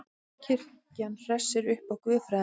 Kirkjan hressi upp á guðfræðina